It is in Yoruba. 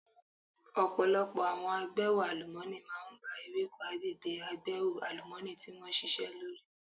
Ọ̀pọ̀lọpọ̀ àwọn agbẹ́hò àlùmọ́nì máa ń ba ewéko agbègbè agbẹ́hò àlùmọ́ọ́nì tí wón ṣisẹ́ lórí.